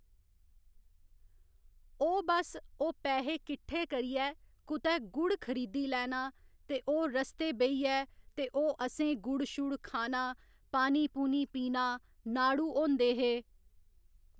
ओह् बस ओह् पैहे किट्ठे करियै कुतै गुड़ खरीदी लैना ते ओह् रस्तै बेहियै ते ओह् असें गुड़ शुड़ खाना पानी पूनी पीना नाड़ू होंदे हे